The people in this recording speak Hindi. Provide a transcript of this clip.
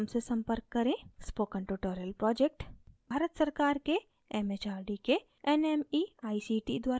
spoken tutorial project भारत सरकार के mhrd के nmeict द्वारा निधिबद्ध है